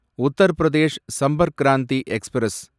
Uttar Pradesh Sampark Kranti express